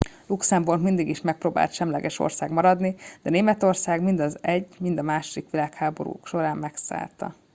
luxemburg mindig is megpróbált semleges ország maradni de németország mind az i mind a ii világháború során megszállta